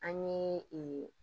An ye